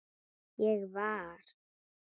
Ég var.